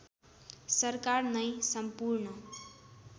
सरकार नै “सम्पूर्ण